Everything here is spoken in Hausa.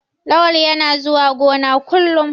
Lawal yana zuwa gona kullum.